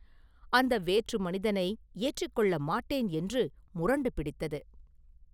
அந்த வேற்று மனிதனை ஏற்றிக் கொள்ள மாட்டேன் என்று முரண்டு பிடித்தது!